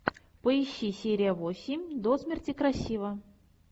поищи серия восемь до смерти красива